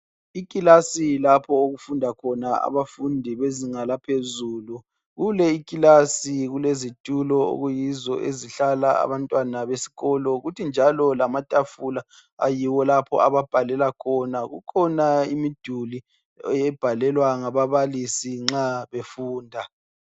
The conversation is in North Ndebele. I class lapho okufunda khona abafundi bezinga laphezulu, kule i class kulezitulo okuyizo okuhlala abantwana besikolo kuthi njalo lamatafula ayiwo lapho ababhalela khona. Kukhona imiduli ebhalelwa ngababalisi nxa befunda.